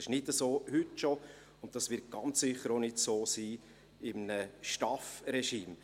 Das ist heute schon nicht der Fall, und dies wird ganz sicher auch nicht so sein in einem STAF-Regime.